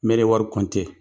Mɛri ye wari